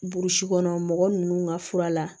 Burusi kɔnɔ mɔgɔ ninnu ka fura la